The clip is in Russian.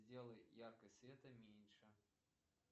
сделай яркость света меньше